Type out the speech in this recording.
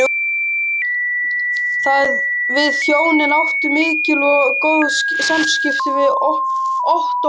Við hjónin áttum mikil og góð samskipti við Ottó og